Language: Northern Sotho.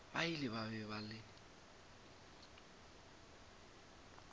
ba ile ba ba le